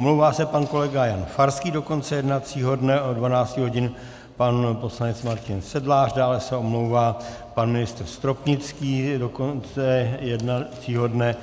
Omlouvá se pan kolega Jan Farský do konce jednacího dne, od 12 hodin pan poslanec Martin Sedlář, dále se omlouvá pan ministr Stropnický do konce jednacího dne